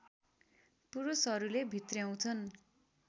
पुरुषहरूले भित्र्याउँछन्